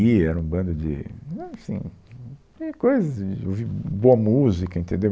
E era um bando de... assim... de coisas... de ouvir boa música, entendeu?